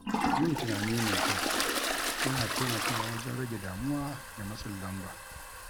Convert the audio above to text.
Yin tunani mai kyau yana taimakawa wajen rage damuwa da matsin lamba.